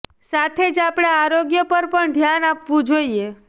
સાથે જ આપણા આરોગ્ય પર પણ ધ્યાન આપવુ જોઇએ